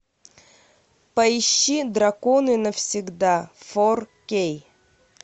поищи драконы навсегда фор кей